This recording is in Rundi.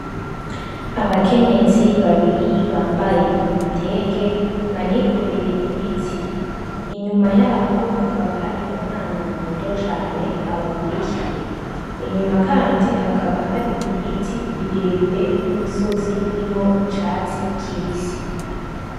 Abakenyezi babiri bambaye ibitenge banikoreye ibiti , inyuma yabo hakaba hari umwana muto cane abakurikiye, inyuma kandi hakaba hari ibiti birebire n'imisozi irimwo icatsi kibisi.